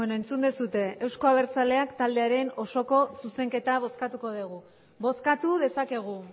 entzun duzue euzko abertzaleak taldearen osoko zuzenketa bozkatuko degu bozkatu dezakegu